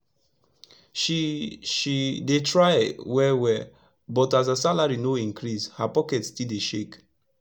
she she dey try wel wel but as her salari no increase her pocket still dey shake